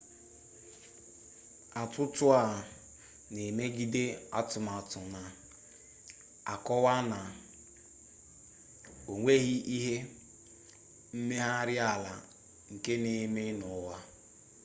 atụtụ a na-emegide atụmatụ na-akọwa na o nweghi ihe mmegharị ala nke n'eme n'ọnwa